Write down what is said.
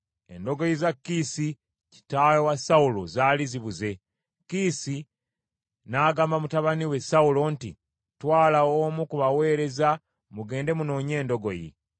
Endogoyi za Kiisi, kitaawe wa Sawulo zaali zibuze. Kiisi n’agamba mutabani we Sawulo nti, “Twala omu ku baweereza, mugende munoonye endogoyi.”